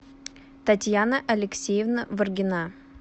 татьяна алексеевна варгина